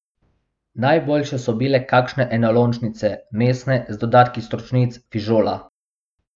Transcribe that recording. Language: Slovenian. Najboljše so bile kakšne enolončnice, mesne, z dodatki stročnic, fižola.